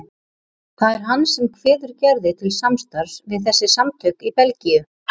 Það er hann sem kveður Gerði til samstarfs við þessi samtök í Belgíu.